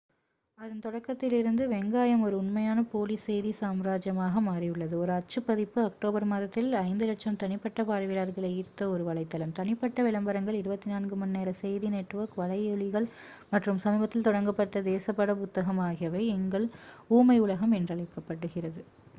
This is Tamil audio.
அதன் தொடக்கத்திலிருந்து வெங்காயம் ஒரு உண்மையான போலி செய்தி சாம்ராஜ்யமாக மாறியுள்ளது ஒரு அச்சு பதிப்பு அக்டோபர் மாதத்தில் 5,000,000 தனிப்பட்ட பார்வையாளர்களை ஈர்த்த ஒரு வலைத்தளம் தனிப்பட்ட விளம்பரங்கள் 24 மணி நேர செய்தி நெட்வொர்க் வலையொளிகள் மற்றும் சமீபத்தில் தொடங்கப்பட்ட தேசப்பட புத்தகம் ஆகியவை எங்கள் ஊமை உலகம் என்றழைக்கப்படுகிறது